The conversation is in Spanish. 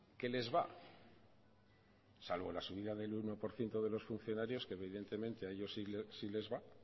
qué les va salvo la subida del uno por ciento de los funcionarios que evidentemente a ellos sí les va